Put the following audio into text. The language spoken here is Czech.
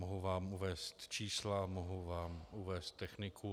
Mohu vám uvést čísla, mohu vám uvést techniku.